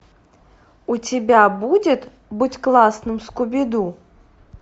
у тебя будет будь классным скуби ду